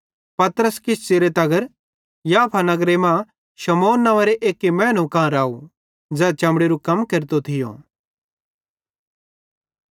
पतरस किछ च़िरे तगर याफा नगरे मां शमौन नव्वेंरो एक्की मैनेरे कां राव ज़ै चमड़ेरू कम केरतो थियो